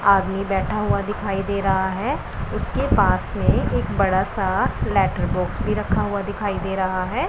आदमी बैठा हुआ दिखाई दे रहा है उसके पास में एक बड़ा सा लेटर बॉक्स भी रखा हुआ दिखाई दे रहा है।